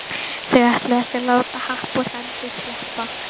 Þau ætluðu ekki að láta happ úr hendi sleppa.